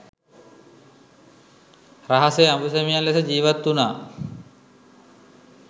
රහසේ අඹුසැමියන් ලෙස ජීවත් වුණා